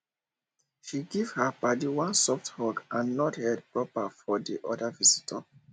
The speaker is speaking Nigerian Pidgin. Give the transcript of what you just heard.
she give her paddy one soft hug and nod head proper for the other visitor